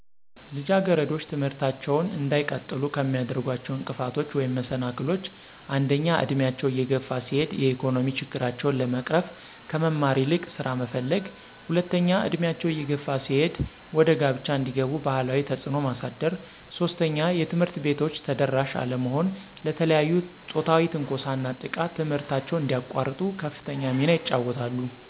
ልጃገረዶች ትምህርታቸውን እንዳይቀጥሉ ከሚያደርጓቸው እንቅፋቶች ወይም መሰናክሎች አንደኛ እድሜያቸው እየገፋ ሲሄድ የኢኮኖሚ ችግራቸውን ለመቅረፍ ከመማር ይልቅ ስራ መፈለገ፣ ሁለተኛ እድሜያቸው እየገፋ ሲሄድ ወደ ጋብቻ እንዲገቡ ባህላዊ ተፅዕኖ ማሳደር፣ ሦስተኛ የትምህርት ቤቶች ተደራሽ አለመሆን ለተለያዩ ፆታዊ ትንኮሳና ጥቃት ትምህርታቸውን እዲያቋርጡ ከፍተኛ ሚና ይጫወታሉ።